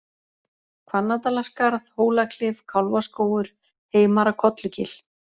Hvanndalaskarð, Hólaklif, Kálfaskógur, Heimara-Kollugil